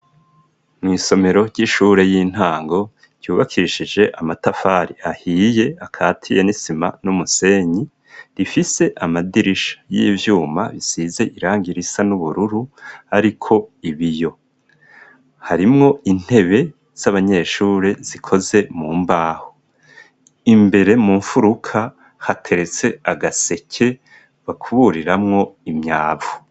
Mw'isomero ry'ishure y'intango ryubakishije amatafari ahiye akati ye nisima n'umusenyi rifise amadirisha y'ivyuma bisize iranga irisa n'ubururu, ariko ibi yo harimwo intebe z'abanyeshure zikoze mu mbaho imbere mu mfuruka hateretse agaseke bakuburiramwo imyavu.